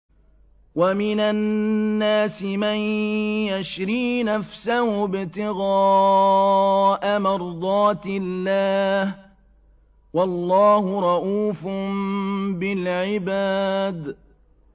وَمِنَ النَّاسِ مَن يَشْرِي نَفْسَهُ ابْتِغَاءَ مَرْضَاتِ اللَّهِ ۗ وَاللَّهُ رَءُوفٌ بِالْعِبَادِ